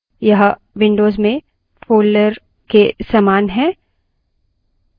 यह विन्डोज़ में folders के समान है